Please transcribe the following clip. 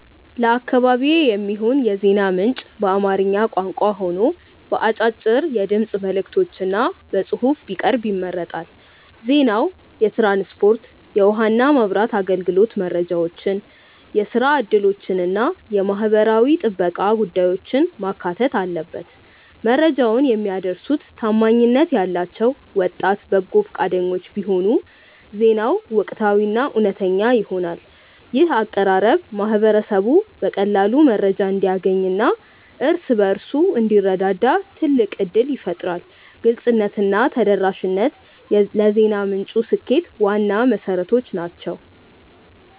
ለአካባቢዬ የሚሆን የዜና ምንጭ በአማርኛ ቋንቋ ሆኖ በአጫጭር የድምፅ መልዕክቶችና በጽሑፍ ቢቀርብ ይመረጣል። ዜናው የትራንስፖርት፣ የውኃና መብራት አገልግሎት መረጃዎችን፣ የሥራ ዕድሎችንና የማኅበራዊ ጥበቃ ጉዳዮችን ማካተት አለበት። መረጃውን የሚያደርሱት ታማኝነት ያላቸው ወጣት በጎ ፈቃደኞች ቢሆኑ ዜናው ወቅታዊና እውነተኛ ይሆናል። ይህ አቀራረብ ማኅበረሰቡ በቀላሉ መረጃ እንዲያገኝና እርስ በርሱ እንዲረዳዳ ትልቅ ዕድል ይፈጥራል። ግልጽነትና ተደራሽነት ለዜና ምንጩ ስኬት ዋና መሠረቶች ናቸው።